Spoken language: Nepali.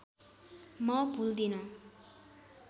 म भुल्दिनँ